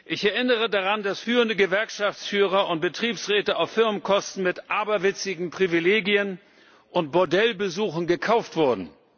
Ich erinnere daran, dass führende Gewerkschaftsführer und Betriebsräte auf Firmenkosten mit aberwitzigen Privilegien und Bordellbesuchen gekauft wurden.